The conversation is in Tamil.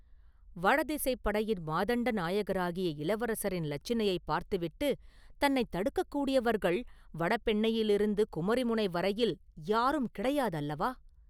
வடதிசைப் படையின் மாதண்ட நாயகராகிய இளவரசரின் இலச்சினையைப் பார்த்துவிட்டுத் தன்னைத் தடுக்கக்கூடியவர்கள் வடபெண்ணையிலிருந்து குமரிமுனை வரையில் யாரும் கிடையாது அல்லவா?